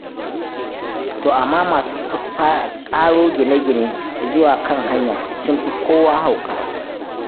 To amma masu ƙaro gine-gine zuwa kan hanya sun fi kowa hauka.